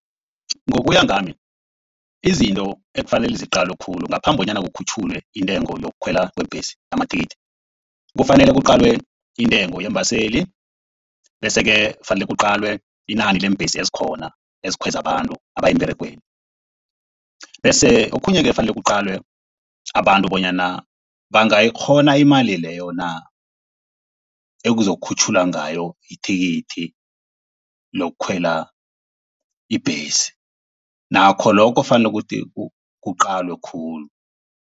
Ngokuya ngami, izinto ekufanele ziqalwe khulu ngaphambi kobanyana kukhutjhulwe intengo yokukhwela kweembhesi amathikithi. Kufanele kuqalwe intengo yeembaseli. Bese-ke kufanele kuqalwe inani leembhesi ezikhona ezikhweza abantu abaya emberegweni. Bese okhunye-ke ekufanele kuqalwe abantu bonyana bangayikghona imali leyo na ekuzokukhutjhululwa ngayo ithikithi lokukhwela ibhesi. Nakho lokho kufanele kuqalwe khulu.